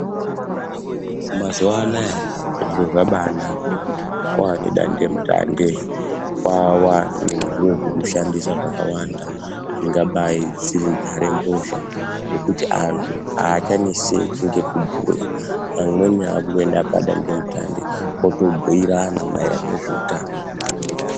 Mazuvaanaya zviro zvabanaka kwavane dandemutande kwavane zviro zvekushandisa zvakawanda dzingadai dziri nhare mbozha zvekuti anthu achaneseki ngekubhuya amweni akutoenda padandemutande otobhuirana maererano nezveutano.